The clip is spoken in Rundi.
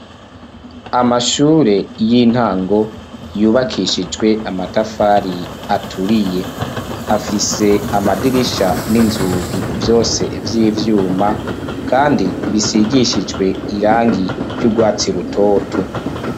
Amashure y'intango yubakishijwe amatafari aturiye. Afise amadirisha n'inzugi vyose vy'ivyuma kandi bisigishijwe irangi ry'urwatsi rutoto.